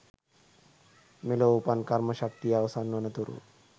මෙලොව උපන් කර්ම ශක්තිය අවසන් වන තුරු